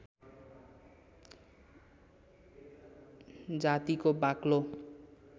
जातिको बाक्लो